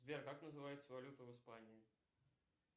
сбер как называется валюта в испании